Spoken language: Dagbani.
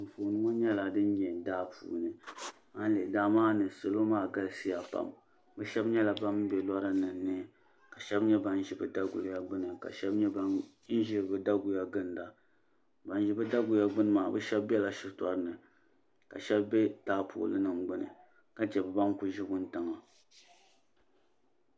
Kpɛn ŋo nyɛla din nyɛ daa puini daa maa ni salo maa galisiya pam bi shab nyɛla ban bɛ lora nim ni ka shab nyɛ ban ʒi bi daguya gbuni ka shab nyɛ ban ʒi bi daguya ginda ban ʒi bi daguya gindi maa bi shab bɛla shitori ni ka shab bɛ taapooli nim gbuni ka chɛ bi ban kuli ʒi wuntaŋa